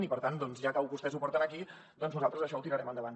i per tant doncs ja que vostès ho porten aquí nosaltres això ho tirarem endavant